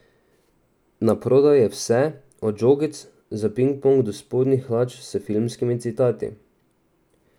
Na prodaj je vse, od žogic za pinkponk do spodnjih hlač s filmski citati.